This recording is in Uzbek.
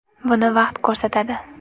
Buni vaqt ko‘rsatadi.